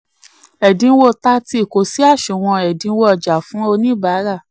17. ẹ̀dínwó 30 kó sí àsunwon ẹ̀dínwó-ọjà fún oníbàárà.